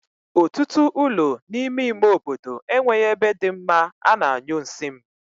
Otutu ulo n'ime ime obodo e nweghi ebe di mma a na-anyu nsi m